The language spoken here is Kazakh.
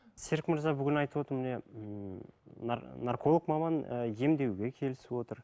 серік мырза бүгін айтып отыр міне ммм нарколог маман і емдеуге келісіп отыр